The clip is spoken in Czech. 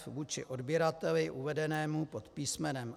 f) vůči odběrateli uvedenému pod písm.